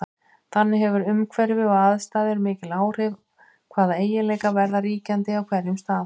Þannig hefur umhverfi og aðstæður mikil áhrif á hvaða eiginleikar verða ríkjandi á hverjum stað.